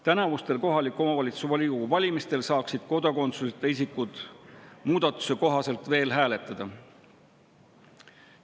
Tänavustel kohaliku omavalitsuse volikogu valimistel saaksid kodakondsuseta isikud muudatuse kohaselt veel hääletada.